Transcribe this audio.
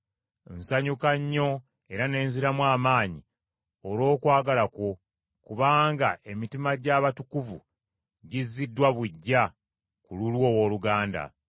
Nsanyuka nnyo era ne nziramu amaanyi olw’okwagala kwo, kubanga emitima gy’abatukuvu giziddwa buggya ku lulwo owooluganda.